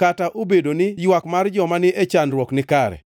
kata obedo ni ywak mar joma ni e chandruok nikare.